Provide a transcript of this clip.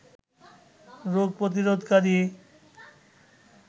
রোগ প্রতিরোধকারী